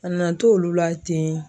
A nana to olu la ten.